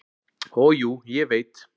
"""Og jú, ég veit."""